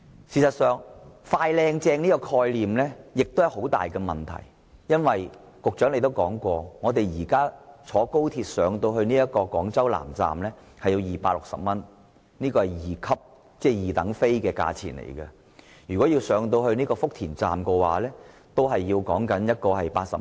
事實上，"快、靚、正"的概念存在很大問題，因為局長曾經說過，現時乘坐高鐵到廣州南站的車費是260元，這是二等車票的價錢，而前往福田站則要80元。